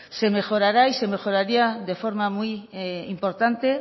se mejorará y se mejoraría de forma muy importante